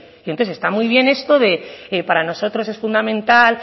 y entonces está muy bien esto de para nosotros es fundamental